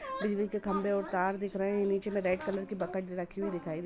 बिजली के खंभे और तार दिख रहे हैं नीचे में रेड कलर की बकट रखी हुई दिखाई दे रही है।